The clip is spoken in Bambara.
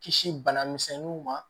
Kisi banamisɛnninw ma